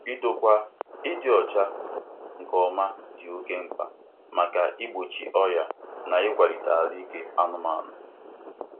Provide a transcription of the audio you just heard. Idokwa ịdị ọcha nke ọma dị oke mkpa maka igbochi ọrịa na ịkwalite ahụike anụmanụ.